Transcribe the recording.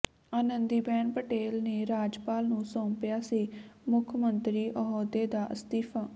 ਆਨੰਦੀਬੇਨ ਪਟੇਲ ਨੇ ਰਾਜਪਾਲ ਨੂੰ ਸੌਂਪਿਆ ਸੀ ਮੁੱਖ ਮੰਤਰੀ ਅਹੁਦੇ ਦਾ ਅਸਤੀਫਾ